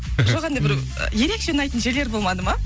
жоқ ерекше ұнайтын жерлер болмады ма